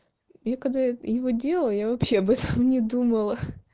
я когда его делаю я вообще об этом не думала